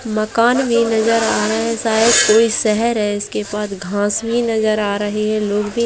मकान भी नजर आ रहें हैं शायद कोई शहर है इसके पास घांस भी नजर आ रहें है लोग भी --